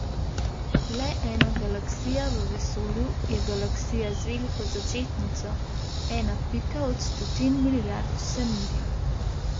Le ena galaksija v vesolju je Galaksija z veliko začetnico, ena pika od stotin milijard vsemirja.